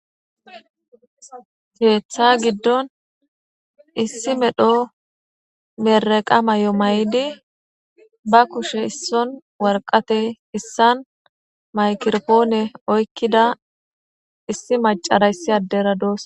heeththa giddon issi medho meraqa may7o may7di ba kushe isson warqate issan maykirpoone oykkida issi macarayssi addera doos